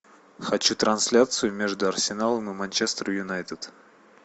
хочу трансляцию между арсеналом и манчестер юнайтед